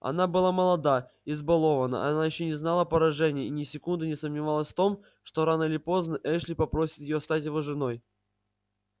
она была молода избалованна она ещё не знала поражений и ни секунды не сомневалась в том что рано или поздно эшли попросит её стать его женой